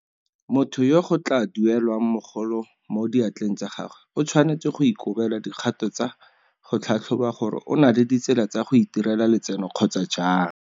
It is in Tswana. Motho yo go tla duelelwang mogolo mo diatleng tsa gagwe o tshwanetse go ikobela dikgato tsa go tlhatlhoba gore o na le ditsela tsa go itirela letseno kgotsa jang.